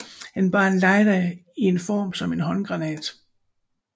Han bar en lighter i en form som en håndgranat